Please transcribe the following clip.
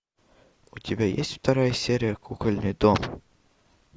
у тебя есть вторая серия кукольный дом